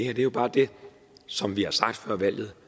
er jo bare det som vi har sagt før valget